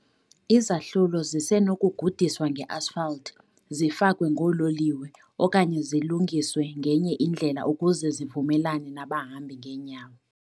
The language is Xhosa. Izahlulo zisenokugudiswa nge-asphalt, zifakwe ngoololiwe, okanye zilungiswe ngenye indlela ukuze zivumelane nabahambi ngeenyawo .